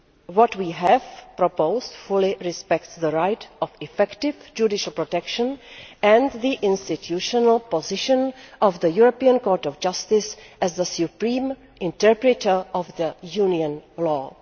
What we have proposed fully respects the right of effective judicial protection and the institutional position of the European Court of Justice as the supreme interpreter of Union law.